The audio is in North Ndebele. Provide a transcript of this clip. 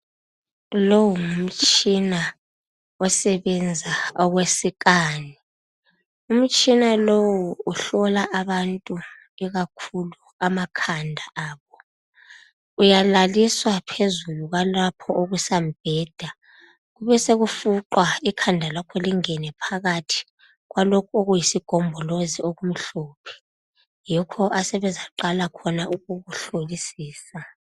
Lowo ngumtshina osebenza, umtshina lowo uhlola abantu ikakhulu amakhanda abo uyalaliswa phezulu kwalapho okusa mbheda kubesokufuqwa ikhanda lakho lingene phakathi kwalokho okuyisigombolozi okumhlophe yikholapha asebeza qala khona ukukuhlolisisa